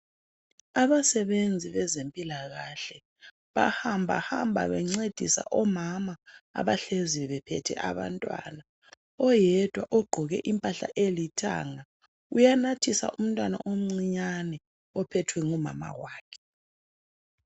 abasebenzi bezempilakahle bahamba hamba bencedisa omama abahleziyo bephethe abantwana oyedwa ogqoke impahla elithanga uyanathisa umntwana omncinyane ophethwe ngumama wakhe